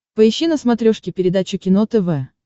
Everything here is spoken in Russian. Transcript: поищи на смотрешке передачу кино тв